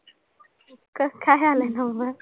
कसं काय आला आहे number?